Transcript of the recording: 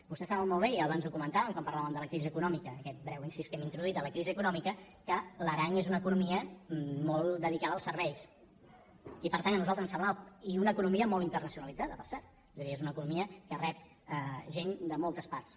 vostès saben molt bé i abans ho comentàvem quan parlàvem de la crisi econòmica aquest breu incís que hem introduït de la crisi econòmica que l’aran és una economia molt dedicada als serveis i una economia molt internacionalitzada per cert és a dir és una economia que rep gent de moltes parts